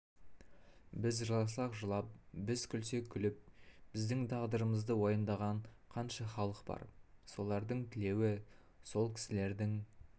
біз жыласақ жылап біз күлсек күліп біздің тағдырымызды уайымдаған қанша халық бар солардың тілеуі сол кісілердің